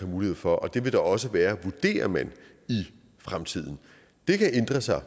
mulighed for og det vil der også være vurderer man i fremtiden det kan ændre sig og